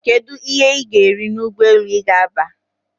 Kedu ihe ga eri na Ụgbọelu gaba?